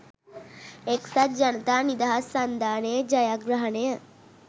එක්සත් ජනතා නිදහස් සන්ධානයේ ජයග්‍රහණය